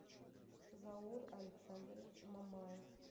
заур александрович маммаев